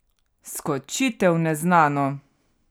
Skočite v neznano!